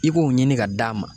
I k'o ɲini ka d'a ma.